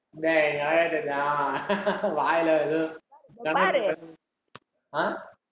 டேய்ய் அஹ்